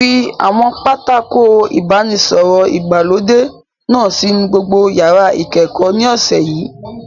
Fi àwọn pátákó ìbánisọ̀rọ̀ ìgbàlódé náà sínú gbogbo yàrá ìkẹ́kọ̀ọ́ ní ọ̀sẹ̀ yìí!